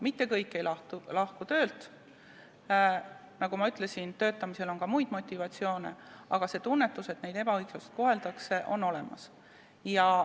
Mitte kõik ei lahku töölt, nagu ma ütlesin, töötamisel on ka muud motivatsiooni, aga see tunnetus, et neid ebaõiglaselt koheldakse, on olemas.